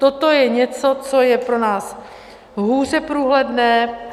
Toto je něco, co je pro nás hůře průhledné.